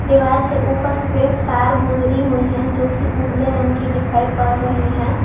दीवार के ऊपर से तार गुजरी हुई हैं जो की उजले रंग की दिखाई पड़ रही हैं।